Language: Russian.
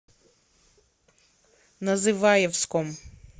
называевском